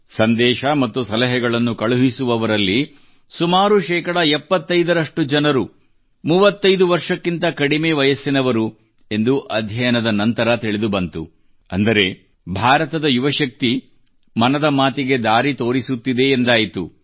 ಸಂದೇಶ ಮತ್ತು ಸಲಹೆಗಳನ್ನು ಕಳುಹಿಸುವವರಲ್ಲಿ ಸುಮಾರು ಶೇಕಡಾ 75 ರಷ್ಟು ಜನರು 35 ವರ್ಷಕ್ಕಿಂತ ಕಡಿಮೆ ವಯಸ್ಸಿನವರು ಎಂದು ಅಧ್ಯಯನದ ನಂತರ ತಿಳಿದುಬಂದಿತು ಅಂದರೆ ಭಾರತದ ಯುವಶಕ್ತಿ ಮನದ ಮಾತಿಗೆ ದಾರಿ ತೋರಿಸುತ್ತಿದೆ ಎಂದಾಯಿತು